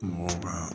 Mɔgɔw ka